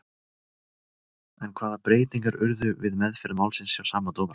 En hvaða breytingar urðu við meðferð málsins hjá sama dómara?